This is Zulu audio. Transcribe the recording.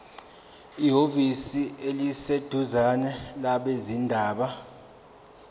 ehhovisi eliseduzane labezindaba